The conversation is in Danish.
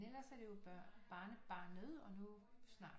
Ellers er det jo børn barnebarnet og nu snart